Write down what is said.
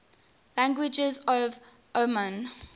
languages of oman